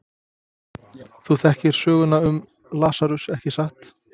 Þú þekkir söguna um Lasarus, ekki satt?